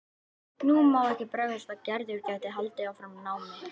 Nú má ekki bregðast að Gerður geti haldið áfram námi.